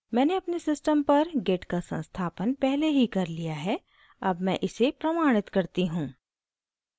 मैंने अपने system पर git का संस्थापन पहले ही कर लिया है अब मैं इसे प्रमाणित करती हूँ